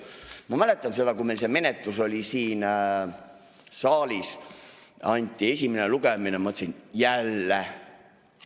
Ma mäletan, kui meil see menetlus oli, siin saalis oli esimene lugemine, siis ma mõtlesin: jälle!